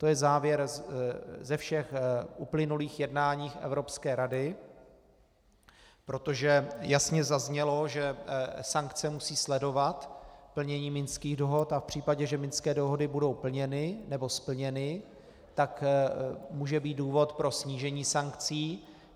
To je závěr ze všech uplynulých jednání Evropské rady, protože jasně zaznělo, že sankce musí sledovat plnění Minských dohod a v případě, že Minské dohody budou plněny, nebo splněny, tak může být důvod pro snížení sankcí.